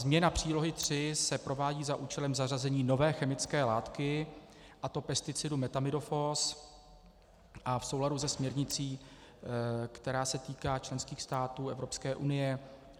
Změna přílohy 3 se provádí za účelem zařazení nové chemické látky, a to pesticidu metamidofos, a v souladu se směrnicí, která se týká členských států Evropské unie.